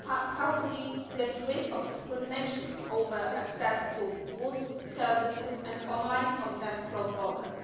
How do we get rid of discrimination over access to goods, services and online content cross-border?